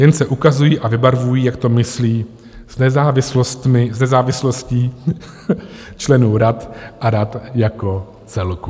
Jen se ukazují a vybarvují, jak to myslí s nezávislostí členů rad a rad jako celku.